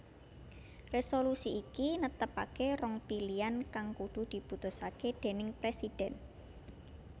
Resolusi iki netepake rong pilian kang kudu diputusake déning presiden